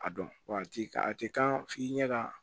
A dɔn wa a ti kan a tɛ kan f'i ɲɛ ka